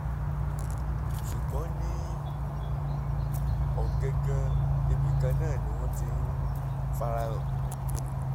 ṣùgbọ́n ní um ọ̀gángán ibìkan náà ni wọ́n ti ń farahàn